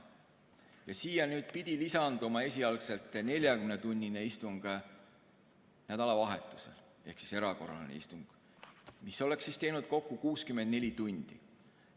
Siia pidi lisanduma esialgselt 40‑tunnine istung nädalavahetusel ehk erakorraline istung, mis oleks teinud kokku 64 tundi.